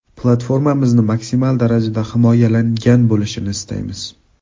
Platformamizni maksimal darajada himoyalangan bo‘lishini istaymiz.